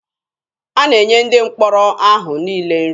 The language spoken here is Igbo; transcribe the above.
A na-enye ndị mkpọrọ ahụ niile nri.